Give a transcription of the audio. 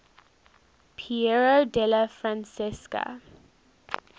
piero della francesca